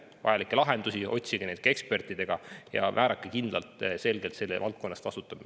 Otsige neid ka ekspertidega ja määrake kindel minister, kes selle valdkonna eest vastutab.